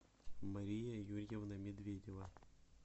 мария юрьевна медведева